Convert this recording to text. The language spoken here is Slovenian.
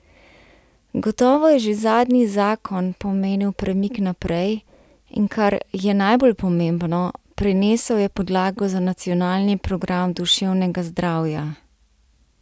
Gotovo je že zadnji zakon pomenil premik naprej, in kar je najbolj pomembno, prinesel je podlago za nacionalni program duševnega zdravja.